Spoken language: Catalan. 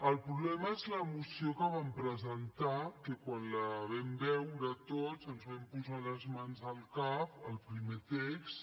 el problema és la moció que van presentar que quan la vam veure tots ens vam posar les mans al cap el primer text